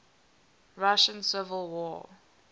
russian civil war